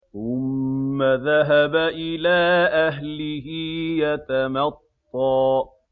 ثُمَّ ذَهَبَ إِلَىٰ أَهْلِهِ يَتَمَطَّىٰ